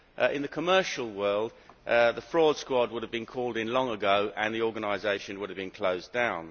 In the commercial world the fraud squad would have been called in long ago and the organisation would have been closed down.